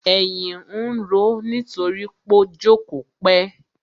Èyìn ń roó nítorí pó jókòó pẹ́.